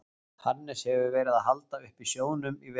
Hannes hefur verið að halda uppi sjóðnum í vetur.